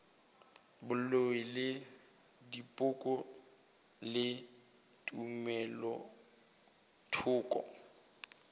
boloi le dipoko le tumelothoko